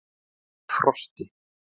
Frosti